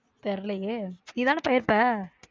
தெரியலையே நீதான போயிருப்ப.